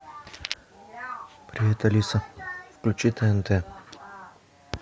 привет алиса включи тнт